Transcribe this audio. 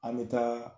An bɛ taa